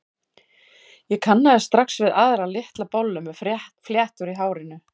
Ég kannaðist strax við aðra, litla bollu með fléttur í hárinu.